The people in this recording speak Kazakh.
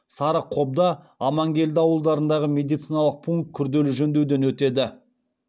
сарықобда амангелді ауылдарындағы медициналық пункт күрделі жөндеуден өтеді